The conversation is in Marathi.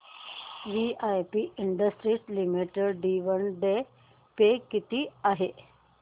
VIP industries limited dividend pay किती आहे